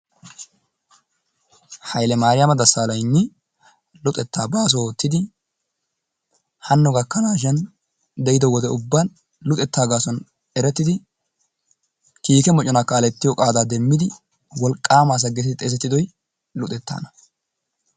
Hayille Maariyama Dasaaaleygni luxettaa baaso ootidi hano gakkanaashin de'ido wode ubban luxettaa gaasuwan erettidi kiikke mocconaa kaaletiyo qaadaa demmidi wolqaama asa geetetti xeesettidoy luxxetaana.